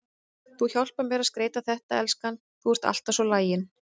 Þú hjálpar mér að skreyta þetta, elskan, þú ert alltaf svo lagin.